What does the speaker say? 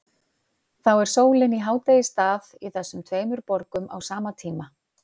Þá er sólin í hádegisstað í þessum tveimur borgum á sama tíma.